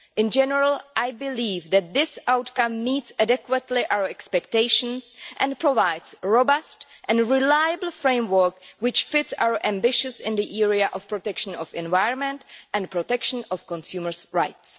In general, I believe that this outcome meets adequately our expectations and provides a robust and reliable framework which fits with our ambitions in the area of protection of the environment and protection of consumers' rights.